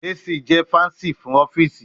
AC jẹ fun Fancy ọfiisi